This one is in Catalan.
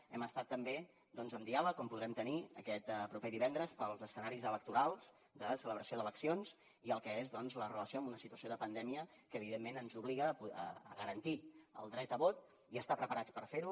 hem estat també doncs amb diàleg com podrem tenir aquest proper divendres pels escenaris electorals de celebració d’eleccions i el que és la relació amb una situació de pandèmia que evidentment ens obliga a garantir el dret a vot i a estar preparats per fer ho